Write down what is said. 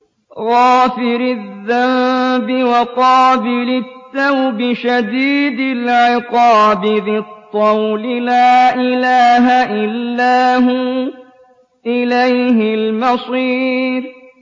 غَافِرِ الذَّنبِ وَقَابِلِ التَّوْبِ شَدِيدِ الْعِقَابِ ذِي الطَّوْلِ ۖ لَا إِلَٰهَ إِلَّا هُوَ ۖ إِلَيْهِ الْمَصِيرُ